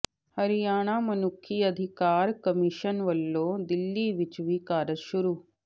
ਹਰਿਆਣਾ ਮਨੁੱਖੀ ਅਧਿਕਾਰ ਕਮਿਸ਼ਨ ਵੱਲੋਂ ਦਿੱਲੀ ਵਿੱਚ ਵੀ ਕਾਰਜ ਸ਼ੁਰੂ